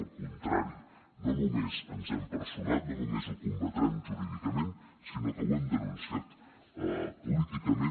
al contrari no només ens hem personat no només ho combatrem jurídicament sinó que ho hem denunciat políticament